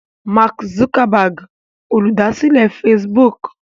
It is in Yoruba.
Mark Zuckerberg Olùdásílẹ̀ Facebook.